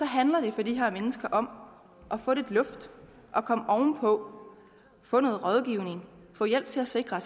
handler det for de her mennesker om at få lidt luft og komme ovenpå få noget rådgivning få hjælp til at sikre